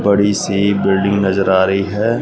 बड़ी सी बिल्डिंग नजर आ रही है।